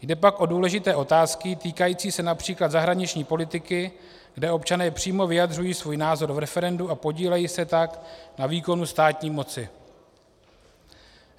Jde pak o důležité otázky týkající se například zahraniční politiky, kde občané přímo vyjadřují svůj názor v referendu a podílejí se tak na výkonu státní moci.